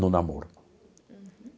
No namoro. Uhum.